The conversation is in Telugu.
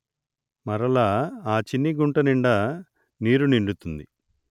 మరలా ఆ చిన్ని గుంట నిండ నీరు నిండుతుంది